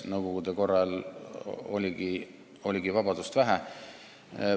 Nõukogude korra ajal oligi vabadust vähe.